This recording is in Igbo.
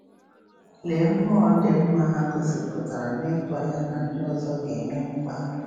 Lee mmụọ dị mma ha gosipụtara n’ịtụ anya na ndị ọzọ ga-enwe mkpa!